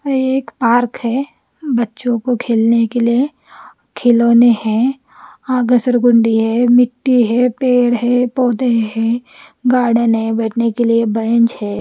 ये एक पार्क है बच्चो को खेलने के लिए खिलोने है आगे सर्गुंडी है मिट्टी है पेड़ है पोधे है गार्डन है बेटने के लिए बेंच है।